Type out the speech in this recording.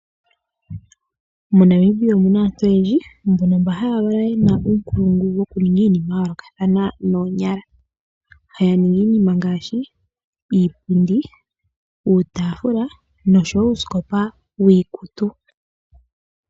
MoNamibia omuna aantu oyendji, mbono mba haya valwa yena uunkulungu wokuninga iinima ya yoolokathana noonyala. Haya ningi iinima ngaashi, iipundi, uutaafula, noshowo uusikopa wiikutu.